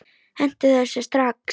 Hentu þessu strax!